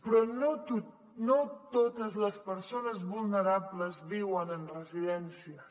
però no totes les persones vulnerables viuen en residències